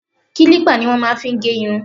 Kílípà ni wọ́n máa fi ń gẹ irun